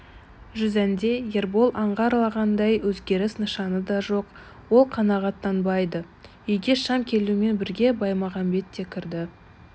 жүзәнде ербол аңғарғандай өзгеріс нышаны да жоқ ол қанағаттанбады үйге шам келуімен бірге баймағамбет те кірді